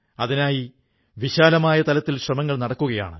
അതിനായി വിശാലമായ തലത്തിൽ ശ്രമങ്ങൾ നടക്കുകയാണ്